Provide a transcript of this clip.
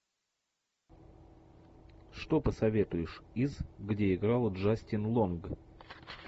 что посоветуешь из где играла джастин лонг